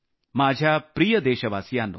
माझ्या प्रिय देशवासियांनो